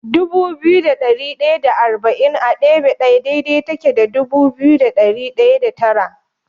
Dubu biyu da ɗari ɗaya da arba'in a ɗebe ɗaya daidai take da dubu biyu da ɗari ɗaya da tara.